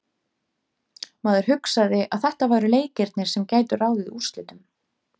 Maður hugsaði að þetta væru leikirnir sem gætu ráðið úrslitum.